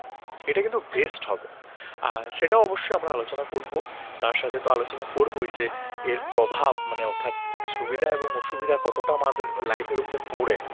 এর প্রভাব মানে অর্থাৎ সুবিধা এবং অসুবিধা কতটা আমাদের লাইফের উপরে পড়ে